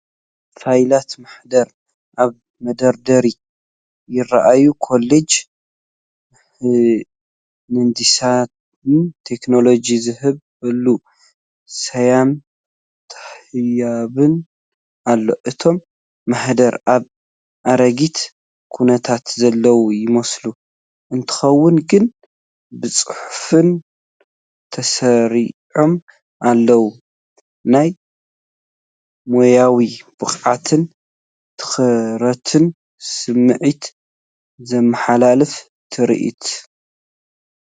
ፋይላት ማህደር ኣብ መደርደሪ ይረኣዩ። “ኮሌጅ ምህንድስናን ቴክኖሎጅን” ዝብል ስያመ ተዋሂብዎ ኣሎ። እቶም ማህደር ኣብ ኣረጊት ኩነታት ዘለዉ ይመስሉ፡ እንተኾነ ግን ብጽፉፍ ተሰሪዖም ኣለዉ። ናይ ሞያዊ ብቕዓትን ትኹረትን ስምዒት ዘመሓላልፍ ትርኢት።